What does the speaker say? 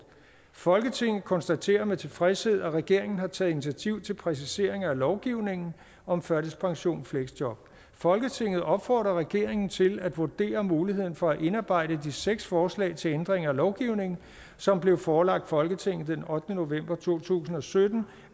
folketinget konstaterer med tilfredshed at regeringen har taget initiativ til præciseringer af lovgivningen om førtidspension og fleksjob folketinget opfordrer regeringen til at vurdere muligheden for at indarbejde de seks forslag til ændringer af lovgivningen som blev forelagt folketinget den ottende november to tusind og sytten